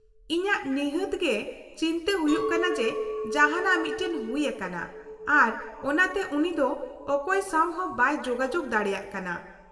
-ᱤᱧᱟᱹᱜ ᱱᱤᱦᱟᱹᱛ ᱜᱮ ᱪᱤᱱᱛᱟᱹ ᱦᱩᱭᱩᱜ ᱠᱟᱱᱟ ᱡᱮ ᱡᱟᱦᱟᱸᱱᱟᱜ ᱢᱤᱫᱴᱟᱝ ᱦᱩᱭ ᱟᱠᱟᱱᱟ ᱟᱨ ᱚᱱᱟᱛᱮ ᱩᱱᱤ ᱫᱚ ᱚᱠᱚᱭ ᱥᱟᱶ ᱦᱚᱸ ᱵᱟᱭ ᱡᱳᱜᱟᱡᱳᱜ ᱫᱟᱲᱮᱭᱟᱠᱚ ᱠᱟᱱᱟ ᱾